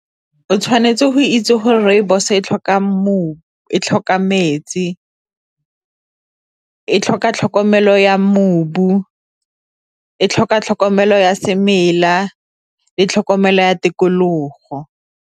O tshwanetse go itse gore rooibos e tlhoka e tlhoka metsi, e tlhoka tlhokomelo ya e tlhoka tlhokomelo ya semela le tlhokomelo ya tikologo.